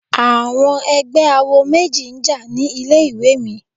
Àwọn ẹgbẹ́ awo méjì jà ní ilé ìwé mi.